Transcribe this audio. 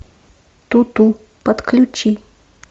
туту подключи